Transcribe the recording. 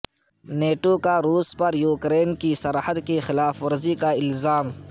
NATO کا روس پر یوکرین کی سرحد کی خلاف ورزی کا الزام